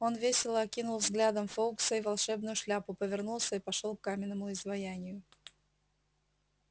он весело окинул взглядом фоукса и волшебную шляпу повернулся и пошёл к каменному изваянию